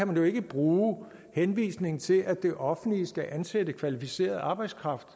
kan jo ikke bruge henvisningen til at det offentlige skal ansætte kvalificeret arbejdskraft